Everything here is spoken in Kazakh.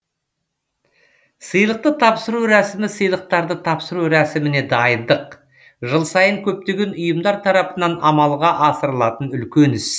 сыйлықты тапсыру рәсімі сыйлықтарды тапсыру рәсіміне дайындық жыл сайын көптеген ұйымдар тарапынан амалға асырылатын үлкен іс